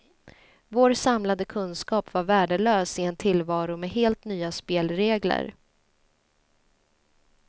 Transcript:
Vår samlade kunskap var värdelös i en tillvaro med helt nya spelregler.